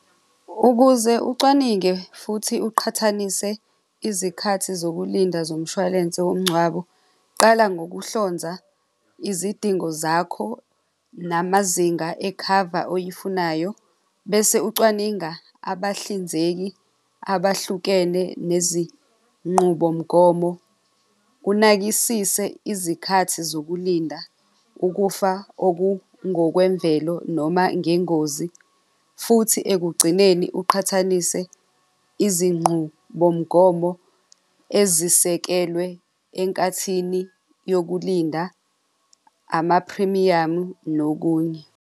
Ukuze ucwaninge futhi uqhathanise izikhathi zokulinda zomshwalense womngcwabo, qala ngokuhlonza izidingo zakho namazinga ekhava oyifunayo, bese ucwaninga abahlinzeki abahlukene nezinqubomgomo, unakisise izikhathi zokulinda ukufa okungokwemvelo noma ngengozi futhi ekugcineni uqhathanise izinqubomgomo ezisekelwe enkathini yokulinda, amaphrimiyamu nokunye.